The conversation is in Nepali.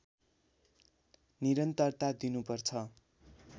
निरन्तरता दिनु पर्छ